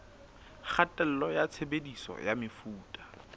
kgatello ya tshebediso ya mefuta